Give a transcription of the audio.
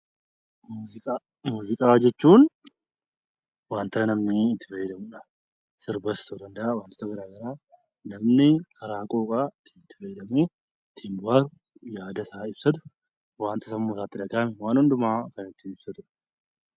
Muuziqaa jechuun wanta namni itti fayyadamudha. Sirbas ta'uu danda'a wantoota garaagaraa namni itti fayyadamu, ittiin bohaaru, yaada isaa ibsatu wanta sammuu isaatti dhagahame waan hundumaa ibsuuf fayyada.